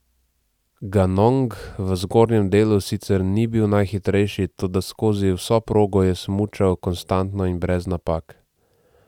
Ganong v zgornjem delu sicer ni bil najhitrejši, toda skozi vso progo je smučal konstantno in brez napak.